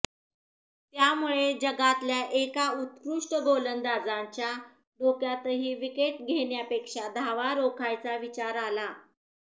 त्यामुळे जगातल्या एका उत्कृष्ट गोलंदाजांच्या डोक्यातही विकेट घेण्यापेक्षा धावा रोखायचा विचार आला